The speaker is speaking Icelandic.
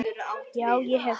Já, ég hef það.